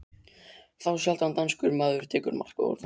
Þá sjaldan danskur maður tekur mark á orðum